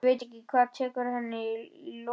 Ég veit ekki hvað tekur við að henni lokinni.